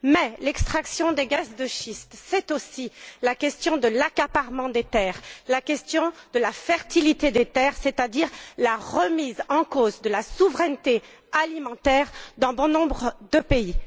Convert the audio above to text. Mais l'extraction des gaz de schiste est aussi liée à la question de l'accaparement des terres, à la question de la fertilité des terres, c'est à dire la remise en cause de la souveraineté alimentaire dans bon nombre de pays.